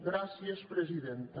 gràcies presidenta